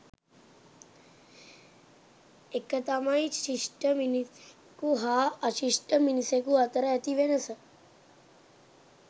එක තමයි ශිෂ්ඨ මිනිසකු හා අශිෂ්ඨ මිනිසකු අතර ඇති වෙනස